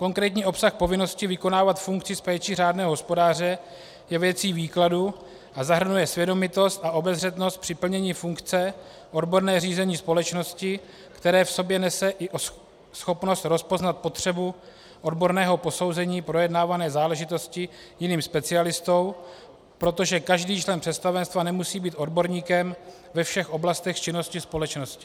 Konkrétní obsah povinnosti vykonávat funkci s péčí řádného hospodáře je věcí výkladu a zahrnuje svědomitost a obezřetnost při plnění funkce, odborné řízení společnosti, které v sobě nese i schopnost rozpoznat potřebu odborného posouzení projednávané záležitosti jiným specialistou, protože každý člen představenstva nemusí být odborníkem ve všech oblastech činnosti společnosti.